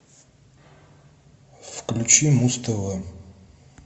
включи муз тв